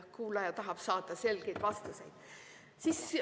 Kuulaja tahab saada selgeid vastuseid.